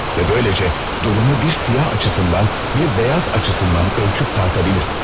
Və böyləcə durumu bir siyah açısından, bir beyaz açısından ölçüp tarta bilər.